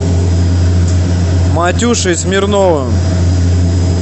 матюшей смирновым